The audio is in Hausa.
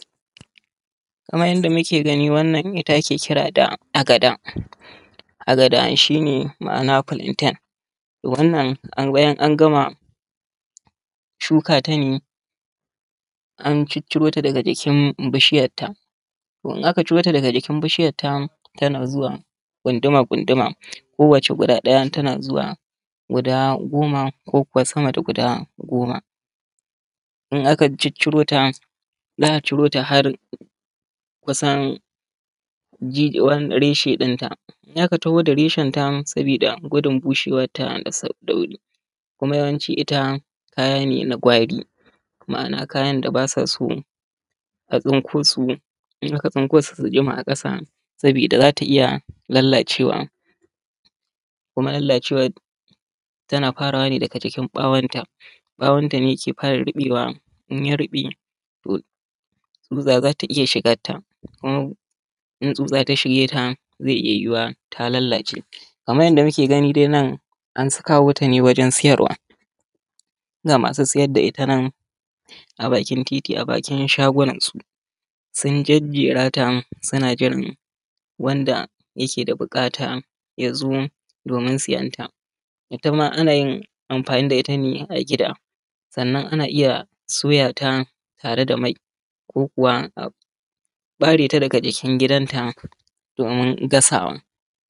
kaman yadda muke gani wannan ita ake kira da agada. Agada shi ne ma’ana filanten wannan bayanan an gama shuka ta ne an cicciro ta daga jikin bishiyarta, to in aka cirota daga jikin bishiyarta tana zuwa ƙunduma ƙunsuma ko wat guda ɗaya ta zuw a goma ko kuma sama da guda goma in aka ciccirota za’a cirota har kusan da reshe ɗinta in aka ciro da reshenta sabida gudun bushewanta da saɗɗauri kuma yawanci ita ma’ana kayan da bata so a tsunkosu jima a ƙasa sabida zata iya lallacewa kuma lallacewa yana farawa ne daga bawonta ne ke fara ribewa in ya rube tsutsa zata iya shignata kuma in tsutsa ta shigeta ta lallace kenan. kamar yadda muke gani nan, an kawo ta ne a gurun siyarwa ga masu siyar da ita nan abakin shago a bakin titi an jejerata ana jiran masu siyanta ko masu bukata su zo domin siyanta. Ita ma anayin amfani da ita ne a gida, sannan ana iya soya ta ne tare da mai, sannan ana kuma iya bare bawonta domin gasawa.